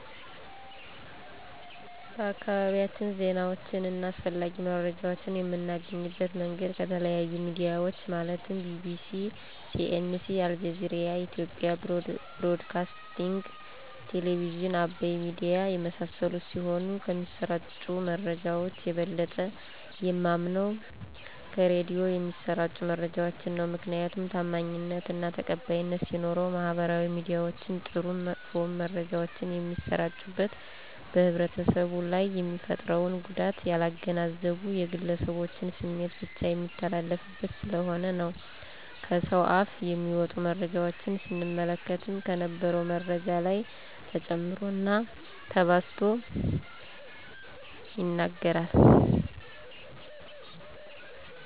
በአካባቢያችን ዜናወችን አና አስፈላጊ መረጃወችን የምናገኝበት መንገድ ከተለያዮ ሚድያወች ማለትም ቢቢሲ :ሲኤንኤ :አልጀዚራ የኢትዮጵያ ብሮድካስቲንግ ቴሌብዝን :አባይ ሚድያ የመሳሰሉት ሲሆን ከሚሰራጩ መረጃወች የበለጠ የማምነው ከራዲዮ የሚሰራጩ መረጃወችን ነው። ምክንያቱም ታማኝነት አና ተቀባይነት ሲኖረው ማህበራዊ ሚድያወች ጥሩም መጥፎም መረጃወች የሚሰራጩበት በህብረተሰቡ ላይ የሚፈጥረውን ጉዳት ያላገናዘቡ የግለሰቦችን ስሜት ብቻ የሚተላለፉበት ስለሆነ ነው። ከሰውአፍ የሚወጡ መረጃወችን ስንመለከትም ከነበረው መረጃ ላይ ተጨምሮና ተባዝቶ ይነገራል።